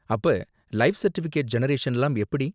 அப்ப life certificate ஜெனரேஷன்லாம் எப்படி?